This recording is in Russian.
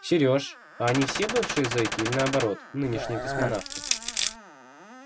серёж а они все бывшие зеки или наоборот нынешние космонавты